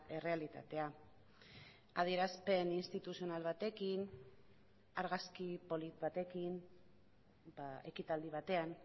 errealitatea adierazpen instituzional batekin argazki polit batekin ekitaldi batean